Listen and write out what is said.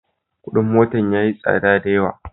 Kudin motan yayi tsadda da yawa.